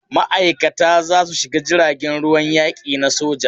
Ma'aikata za su shiga jirgin ruwan yaki na soja.